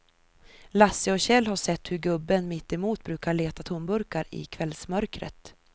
Lasse och Kjell har sett hur gubben mittemot brukar leta tomburkar i kvällsmörkret.